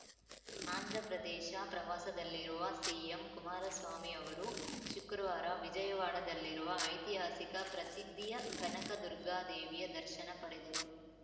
ಆಂಧ್ರಪ್ರದೇಶ ಪ್ರವಾಸದಲ್ಲಿರುವ ಸಿಎಂ ಕುಮಾರಸ್ವಾಮಿ ಅವರು ಶುಕ್ರವಾರ ವಿಜಯವಾಡದಲ್ಲಿರುವ ಐತಿಹಾಸಿಕ ಪ್ರಸಿದ್ಧಿಯ ಕನಕ ದುರ್ಗಾ ದೇವಿಯ ದರ್ಶನ ಪಡೆದರು